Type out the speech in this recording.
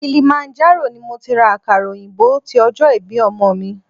Kilimanjaro ni mo ti ra àkàrà òyìnbó ti ọjọ́ ìbí ọmọ mi.